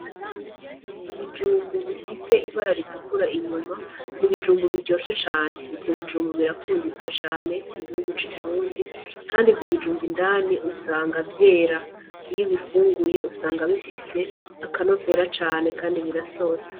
Ibijumbu bifise ibara ritukura inyuma ni ibijumbu biryoshe cane. Ivyo bijumbu birakunditswe cane mu gihugu c'i Burundi. Kandi ivyo bijumbu indani usanga vyera. Iyo ubifunguye usanga bifise akanovera cane kandi birasosa.